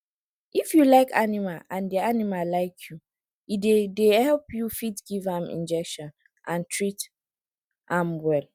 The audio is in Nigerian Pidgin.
if you like animal and di animal like you e dey dey help you fit give am injection and treat am well